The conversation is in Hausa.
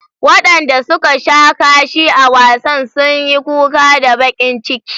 Wadanda suka sha kashi a wasan sun yi kuka da bakin ciki.